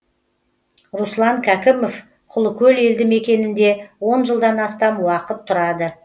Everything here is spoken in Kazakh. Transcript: руслан кәкімов құлыкөл елді мекенінде он жылдан астам уақыт тұрады